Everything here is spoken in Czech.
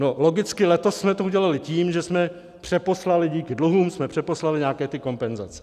No, logicky letos jsme to udělali tím, že jsme přeposlali, díky dluhům jsme přeposlali nějaké ty kompenzace.